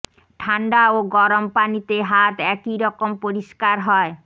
ঠান্ডা ও গরম পানিতে হাত একই রকম পরিষ্কার হয়